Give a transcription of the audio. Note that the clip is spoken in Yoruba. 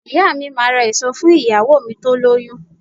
Ìyá mi máà ra èso fún ìyàwó mi tó lóyún